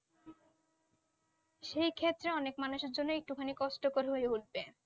সেই ক্ষেত্রে অনেক মানুষের জন্য একটু খানি কষ্টকর হয়ে উঠবে